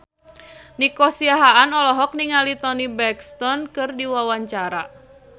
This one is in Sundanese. Nico Siahaan olohok ningali Toni Brexton keur diwawancara